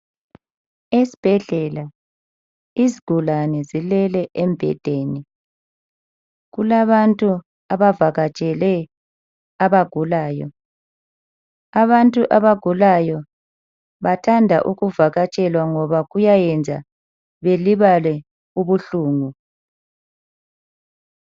Esibhedlela izigulane zilele embhedeni, kulabantu abavakatshele abagulayo, abantu abagulayo bathandwa ukuvakatshelwa ngoba kuyabenza belibale ubuhlungu.